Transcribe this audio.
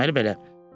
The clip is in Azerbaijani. Deməli belə.